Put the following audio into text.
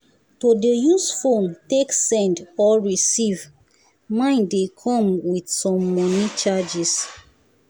to dey use phone take send or receive mine dey come with with some money charges